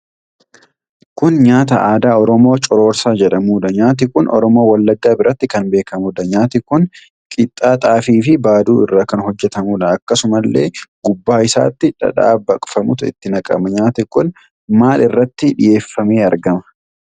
Kun nyaata aadaa Oromoo Cororsaa jedhamuudha. Nyaati kun Oromoo Wallaggaa biratti kan beekamuudha. Nyaati kun qixxaa xaafii fi baaduu irraa kan hojjatamudha. Akkasumallee gubbaa isaatti dhadhaa baqfamaatu itti naqama. Nyaati kun maal irratti dhiyeeffamee argama?